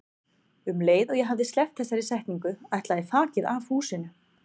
Um leið og ég hafði sleppt þessari setningu ætlaði þakið af húsinu.